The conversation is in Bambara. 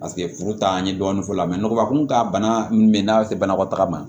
Paseke furu t'a an ye dɔɔni f'o la nɔgɔ kun ka bana min bɛ n'a se banakɔtaga ma